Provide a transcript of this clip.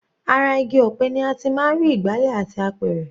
Ara igi ọ̀pẹ ni a ti máa ń rí ìgbálẹ̀ àti apẹ̀rẹ̀.